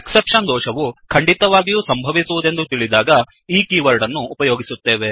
exception exception ದೋಷವು ಖಂಡಿತವಾಗಿಯು ಸಂಭವಿಸುವುದೆಂದು ತಿಳಿದಾಗ ಈ ಕೀವರ್ಡ್ ಅನ್ನು ಉಪಯೋಗಿಸುತ್ತೇವೆ